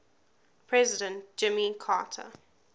president jimmy carter